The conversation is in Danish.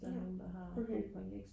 ja okay